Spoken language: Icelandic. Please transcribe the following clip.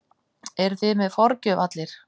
Eruð þið með forgjöf allir?